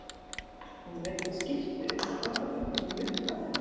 Hún veiddi skyrtu upp á þvottabrettið og nuddaði hana.